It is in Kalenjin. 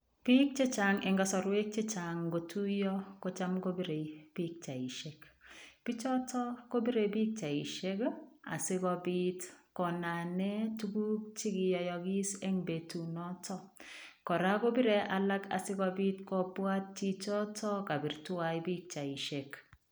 Biik chechaang en kasarweek ingotuyaa kochaam kobiree pichaisheek biik chotoon kobiree pichaisheek asikobiit konameen tuguuk chekiyahagis en betuut noton, kora kobire alaak asikobwaat chichitoon kabiit tuan pichaisheek.